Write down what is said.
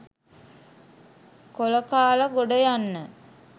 කොල කාල ගොඩයන්න?